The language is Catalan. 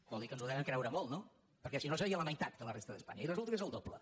vol dir que ens ho devem creure molt no perquè si no seria la meitat que la resta d’espanya i resulta que és el doble